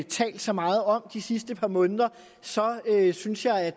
talt så meget om de sidste par måneder så synes jeg